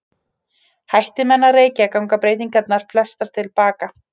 Hætti menn að reykja ganga breytingarnar flestar til baka.